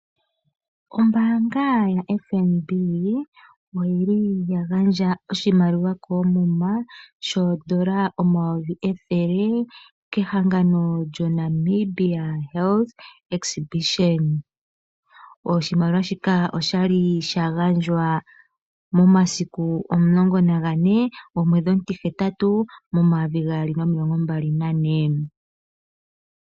Ombaanga yaFNB oya gandja oshimaliwa koomuma shodola omayovi ethele kehangano lyoNamibia Health Exhibition. Oshimaliwa shika osha li sha gandjwa momasiku 14.08.2024.